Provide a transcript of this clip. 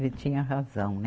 Ele tinha razão, né?